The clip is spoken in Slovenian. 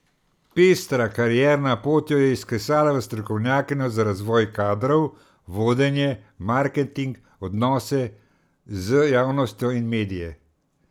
Pestra karierna pot jo je izklesala v strokovnjakinjo za razvoj kadrov, vodenje, marketing, odnose z javnostjo in medije.